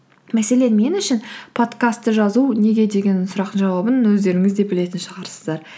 мәселен мен үшін подкастты жазу неге деген сұрақтың жауабын өздеріңіз де білетін шығарсыздар